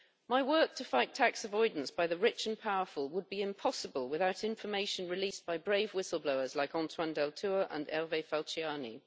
My work to fight tax avoidance by the rich and powerful would be impossible without information released by brave whistle-blowers like Antoine Deltour and Hervé Falciani.